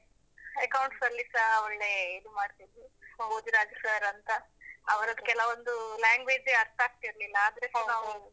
Accounts ಲ್ಲಿಸಾ ಒಳ್ಳೆ ಇದು ಮಾಡ್ತಾ ಇದ್ರು ಭೋಜ್ರಾಜ್ sir ಅಂತ ಅವರದ್ದು ಕೆಲವೊಂದು language ಅರ್ಥ ಆಗ್ತಿರ್ಲಿಲ್ಲ ಆದ್ರೆಸ ನಾವು.